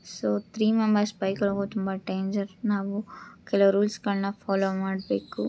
So three member bike ನಲಿ ಹೋಗೋದೇ ತುಂಬಾ ಡೆಂಗೇರ್ . ನಾವು ಕೆಲವು ರೂಲ್ಸ್ ಫಾಲೋ ಮಾಡಬೇಕು